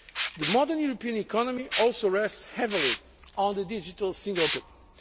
growth. The modern European economy also rests heavily on the digital single